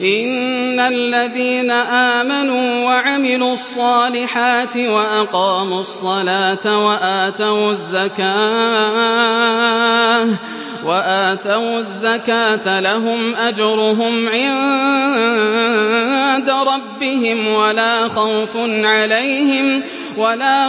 إِنَّ الَّذِينَ آمَنُوا وَعَمِلُوا الصَّالِحَاتِ وَأَقَامُوا الصَّلَاةَ وَآتَوُا الزَّكَاةَ لَهُمْ أَجْرُهُمْ عِندَ رَبِّهِمْ وَلَا